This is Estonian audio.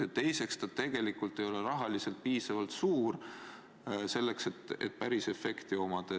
Ja teiseks, see ei ole ka rahaliselt piisavalt suur toetus, et päris efekt anda.